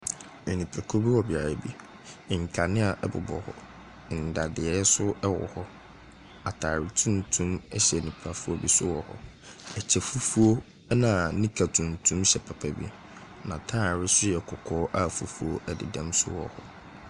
Nipakuo bu wɔ beaeɛ bi. Nkanea bobɔ hɔ. Nnadeɛ nso wɔ hɔ. Atadeɛ tuntum hyɛ nnipafoɔ bi nso wɔ hɔ. Ɛkytɛ fufuo, ɛna nika tintim hyɛ papa bi. N'atadeɛ su yɛ kɔkɔɔ a fufuo dedam nso wɔ hɔ.